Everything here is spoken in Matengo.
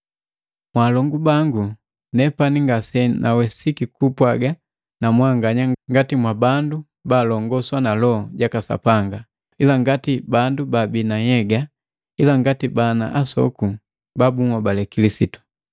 Mwalongu bangu, nepani ngasenawesiki kupwaga na mwanganya ngati mwa bandu balongoswa na Loho jaka Sapanga, ila ngati bandu babii na nhyega ila ngati bana asoku ba bunhobali Kilisitu.